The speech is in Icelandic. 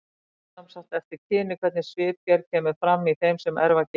Það fer sem sagt eftir kyni hvernig svipgerð kemur fram í þeim sem erfa genið.